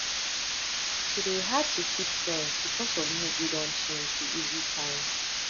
to de hard to keep friends because of mood wey don change be easy sign